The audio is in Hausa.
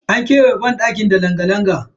An kewaye banɗakin su ne da langa-langa.